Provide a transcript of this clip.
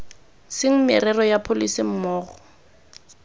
seng merero ya pholese mmogo